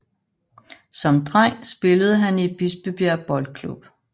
Som dreng spillede han i Bispebjerg Boldklub